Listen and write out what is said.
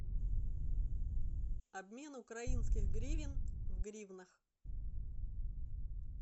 обмен украинских гривен в гривнах